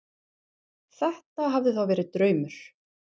Þetta hafði þá verið draumur.